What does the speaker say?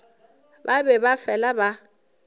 ba be ba fela ba